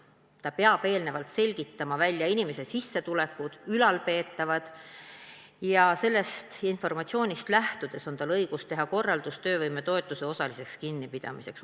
Ta peab eelnevalt selgitama välja inimese sissetulekud ja ülalpeetavad ning sellest informatsioonist lähtudes on tal õigus teha korraldus töövõimetoetuse osaliseks kinnipidamiseks.